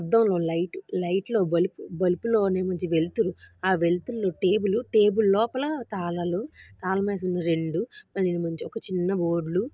అద్దంలో లైట్ ఆ లైట్ లో బలుపు బలుపులో నుంచి వెలుతురు. ఆ వెలుతురు.లో టేబుల్ ఉ టేబుల్ లోపల ఒక తాలాలు తాళం వేసి ఉంది. రెండు మీది నుంచి ఒక చిన్న వి --